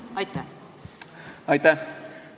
Aitäh!